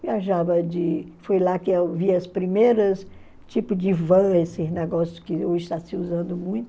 Viajava de... foi lá que eu vi as primeiras tipos de vans, esses negócios que hoje estão se usando muito.